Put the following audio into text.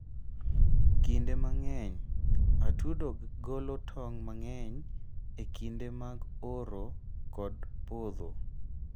Kinde mang'eny, atudo golo tong' mang'eny e kinde mag oro kod podho.